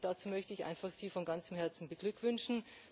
Dazu möchte ich Sie einfach von ganzem Herzen beglückwünschen.